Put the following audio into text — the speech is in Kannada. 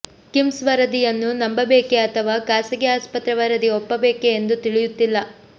ಕಿಮ್ಸ್ ವರದಿಯನ್ನು ನಂಬಬೇಕೆ ಅಥವಾ ಖಾಸಗಿ ಆಸ್ಪತ್ರೆ ವರದಿ ಒಪ್ಪಬೇಕೆ ಎಂದು ತಿಳಿಯುತ್ತಿಲ್ಲ